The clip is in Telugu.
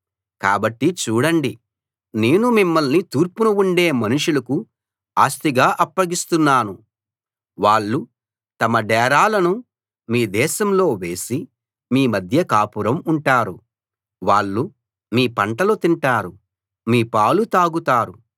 కాబట్టి చూడండి నేను మిమ్మల్ని తూర్పున ఉండే మనుషులకు ఆస్తిగా అప్పగిస్తాను వాళ్ళు తమ డేరాలను మీ దేశంలో వేసి మీ మధ్య కాపురం ఉంటారు వాళ్ళు మీ పంటలు తింటారు మీ పాలు తాగుతారు